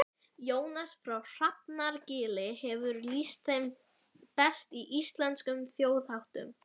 Jónas frá Hrafnagili hefur lýst þeim best í Íslenskum þjóðháttum.